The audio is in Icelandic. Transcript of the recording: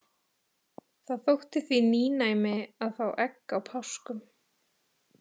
Það þótti því nýnæmi að fá egg á páskum.